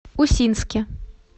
усинске